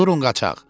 Durun qaçaq.